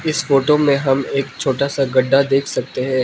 इस फोटो में हम एक छोटा सा गड्ढा देख सकते हैं।